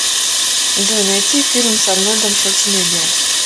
джой найти фильм с арнольдом шварценеггером